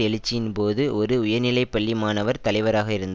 எழுச்சியின் போது ஒரு உயர்நிலை பள்ளி மாணவர் தலைவராக இருந்தார்